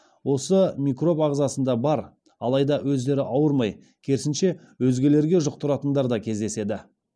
осы микроб ағзасында бар алайда өздері ауырмай керісінше өзгелерге жұқтыратындар кездеседі